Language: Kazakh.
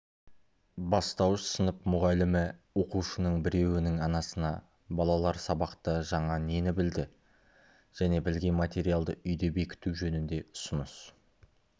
бастауыш сынып мұғалімі оқушының біреуінің анасына балалар сабақта жаңа нені білді және білген материалды үйде бекіту жөнінде ұсыныс